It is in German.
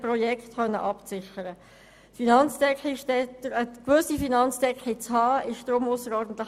Es ist deshalb ausserordentlich wichtig, eine gewisse Finanzdecke zu haben.